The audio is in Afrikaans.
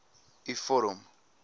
u vorm